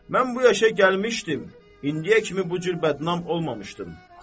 Mən bu yaşa gəlmişdim, indiyə kimi bu cür bədnam olmamışdım.